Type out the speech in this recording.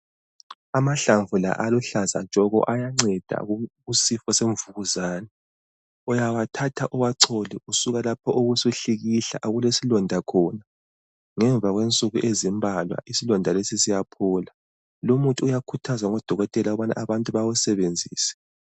Amahlamvu la aluhlaza tshoko ayanceda kusifo semvukuzane. Uyawathatha uwachole usuka lapho ubusuhlikihla okulesilonda khona. Ngemva kwensuku ezimbalwa isilonda lesi siyaphola. Lumuthi uyakhuthazwa ngudokotela ukubana abantu bawusebenzise.